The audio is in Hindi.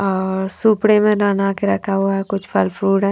अ अ सुपडी में ना ना कर रखा है कुछ फल फ्रूट है --